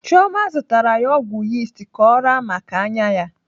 Chioma zụtara ya ọgwụ yist ka ọ raa maka anya ya.